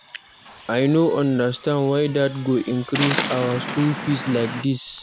I no understand why dat go increase our school fees like dis.